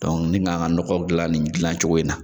mi ka n ka nɔgɔ dilan nin dilan cogo in na.